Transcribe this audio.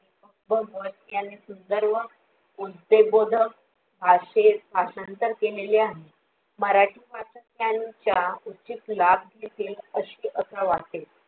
बघ वरती आणि सुंदर व उद्देशबोधक असे भाषांतर केलेले आहे मराठी माध्यम त्यांचा उचित लाभ घेतील अशे असं वाटते